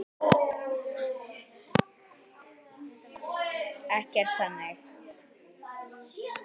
Ekkert þannig.